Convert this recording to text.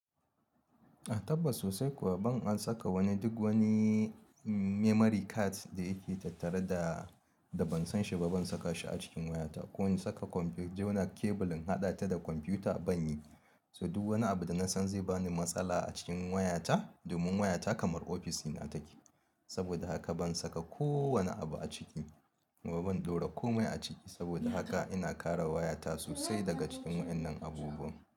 A tabbas sosai kuwa ban an saka wani duk wani. Memory card da yake tattare da, da ban san shi ba, ban saka shi a cikin wayata. Ko in saka komfiyuta jona kebulin haɗa ta da kwamfiyuta ban yi. To duk wani abu da na san zai ba ni matsala a cikin wayata domin wayata kamar ofisɗina take. Saboda haka ban saka kowane abu a ciki kuma ban ɗora kome a ciki. Saboda haka ina kare wayata sosai daga cikin waɗannan abubuwan.